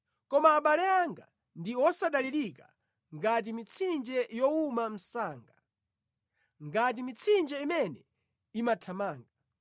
Koma abale anga ndi wosadalirika ngati mitsinje yowuma msanga, ngati mitsinje imene imathamanga.